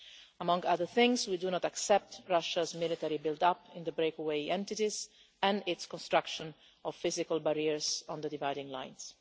Among other things, we do not accept Russia's military build up in the breakaway entities and its construction of physical barriers on the dividing lines.